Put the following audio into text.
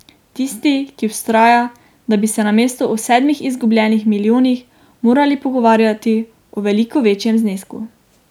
Tisti, ki vztraja, da bi se namesto o sedmih izgubljenih milijonih morali pogovarjati o veliko večjem znesku.